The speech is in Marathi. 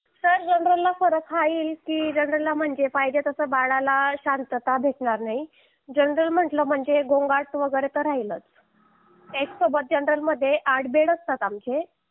सर जनरल ला फरक हा येईल कि जनरल ला म्हणजे पाहिजे तसा बाळाला शांतता भेटणार नाही जनरल म्हंटल म्हणजे गोंगाट वगैरे तर राहिलच एकसोबत जनरल मध्ये आठ बेड असतात आक्खे